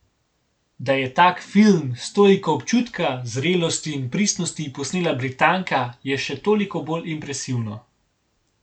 Da je tak film, s toliko občutka, zrelosti in pristnosti, posnela Britanka, je še toliko bolj impresivno.